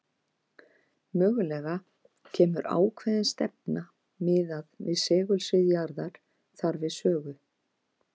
Mögulega kemur ákveðin stefna miðað við segulsvið jarðar þar við sögu.